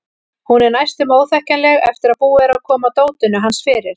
Hún er næstum óþekkjanleg eftir að búið er að koma dótinu hans fyrir.